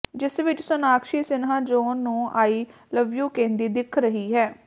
ਜਿਸ ਵਿੱਚ ਸੋਨਾਕਸ਼ੀ ਸਿਨਹਾ ਜੌਹਨ ਨੂੰ ਆਈ ਲਵ ਯੂ ਕਹਿੰਦੀ ਦਿਖ ਰਹੀ ਹੈ